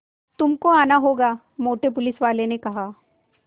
तुमको आना होगा मोटे पुलिसवाले ने कहा